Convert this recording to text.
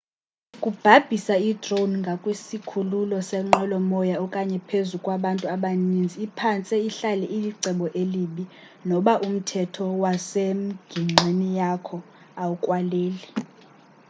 ukubhabhisa i-drone ngakwisikhululo senqwelo moya okanye phezu kwabantu abaninzi iphantse ihlale ilicebo elibi noba umthetho wasemgingqini yakho awukwaleli